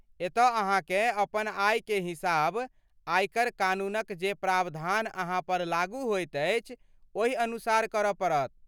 एतऽ अहाँकेँ अपन आयके हिसाब आयकर कानूनक जे प्रावधान अहाँ पर लागू होइत अछि ओहि अनुसार करऽ पड़त।